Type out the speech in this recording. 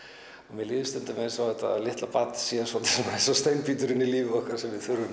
mér líður stundum eins og þetta barn sé steinbíturinn í lífi okkar sem við þurfum